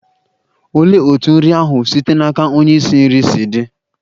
Olee otú nri ahụ site n'aka onye isi nri si di?